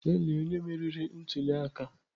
Lelee onye meriri ntuli aka!